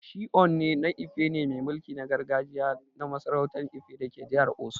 Shi Ooni na Ife ne mai mulki na gargajiya na masarautan Ife dake jihar Osun.